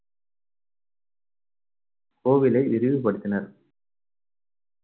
கோவிலை விரிவுபடுத்தினர்.